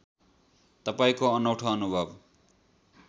तपाईँको अनौठो अनुभव